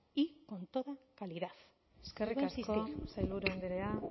y con toda calidad le vuelvo a insistir eskerrik asko sailburu andrea